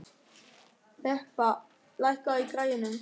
Þeba, lækkaðu í græjunum.